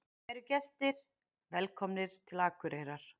Kæru gestir! Velkomnir til Akureyrar.